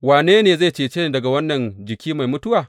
Wane ne zai cece ni daga wannan jiki mai mutuwa?